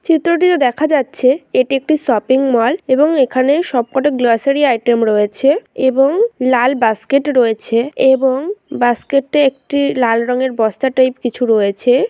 চিত্রটিতে দেখা যাচ্ছে এটি একটি শপিং মল এবং এখানে সবকটা গ্লোসারি আইটেম রয়েছে এবং লাল বাস্কেট রয়েছে এবং বুস্কেটে একটি লাল রঙের বস্তা টাইপ কিছু রয়েছে।